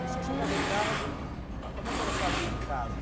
E o senhor chegava em casa, como é que era a sua vida em casa?